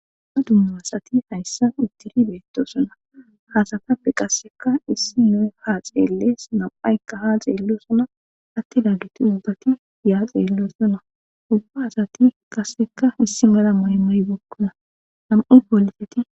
Dumma dumma asati haysan utidi betosona, ha asatappe qase issiniya ha xeeles, nam'ayka ha xeelosona, atidageti ubbati ya xeelosona, ubba asati qaseka issi mala mayo mayibeykona, nam'u poliseti...